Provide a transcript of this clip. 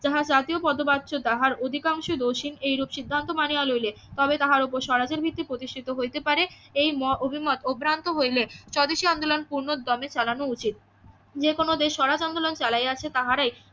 যাহা জাতীয় পদবাচ্য তাহার অধিকাংশে দোষী এই রূপ সিধান্ত মানিয়া লইলে তবে তাহার ওপর স্বরাজের ভিত্তি প্রতিষ্ঠিত হইতে পারে এই মত অভিমত অভ্রান্ত হইলে স্বদেশী আন্দোলন পূর্ণ দোমে চালানো উচিত যে কোনো দেশ স্বরাজ আন্দোলন চালিয়া আছে তাহারাই